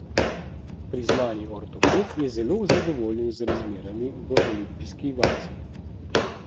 Priznani ortoped je zelo zadovoljen z razmerami v olimpijski vasi.